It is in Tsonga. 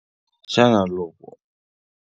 Xana loko.